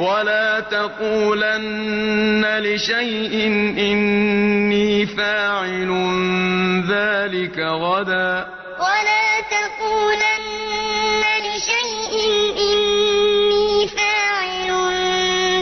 وَلَا تَقُولَنَّ لِشَيْءٍ إِنِّي فَاعِلٌ ذَٰلِكَ غَدًا وَلَا تَقُولَنَّ لِشَيْءٍ إِنِّي فَاعِلٌ